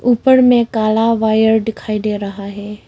ऊपर में काला वायर दिखाई दे रहा है।